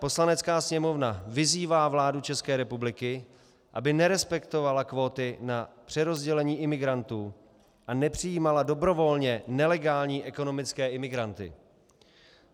Poslanecká sněmovna vyzývá vládu České republiky, aby nerespektovala kvóty na přerozdělení imigrantů a nepřijímala dobrovolně nelegální ekonomické imigranty.